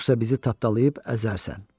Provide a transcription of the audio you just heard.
Yoxsa bizi tapdalayıb əzərsən.